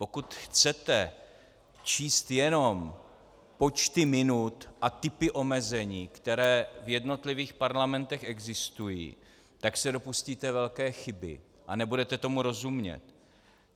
Pokud chcete číst jenom počty minut a typy omezení, které v jednotlivých parlamentech existují, tak se dopustíte velké chyby a nebudete tomu rozumět.